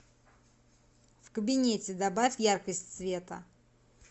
в кабинете добавь яркость света